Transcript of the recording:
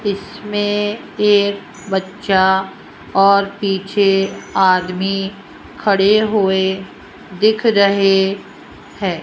इसमें एक बच्चा और पीछे आदमी खड़े हुए दिख रहे हैं।